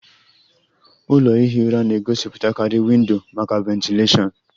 Ụlọ ihi ụra na-egosipụtakarị windo maka ventilashion